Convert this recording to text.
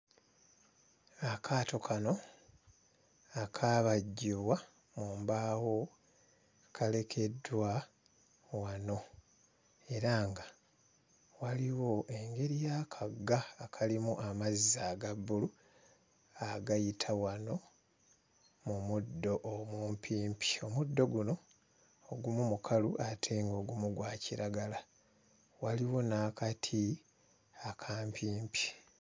Akaato kano akaabajjibwa mu mbaawo kalekeddwa wano. Era nga waliwo engeri y'akagga akalimu amazzi aga bbulu agayita wano mu muddo omumpimpi. Omuddo guno, ogumu mukalu ate ng'ogumu gwa kiragala. Waliwo n'akati akampimpi.